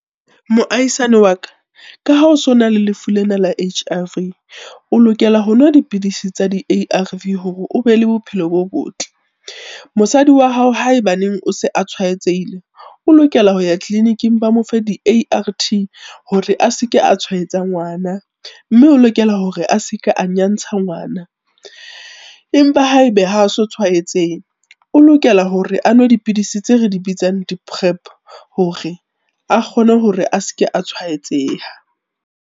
Moahisani wa ka, ka ha o sona le lefu lena la H_I_V, o lokela ho nwa dipidisi tsa di-A_R_V hore o be le bophelo bo botle. Mosadi wa hao haebaneng o se a tshwaetsehile, o lokela ho ya tleliniking ba mo fe di-A_R_T, hore a se ke a tshwaetsa ngwana, mme o lokela hore a se ke a nyantsha ngwana. Empa ha e be ha so tshwaetsehe, o lokela hore a nwe dipidisi tse re di bitsang di-PrEP hore a kgone hore a se ke a tshwaetseha.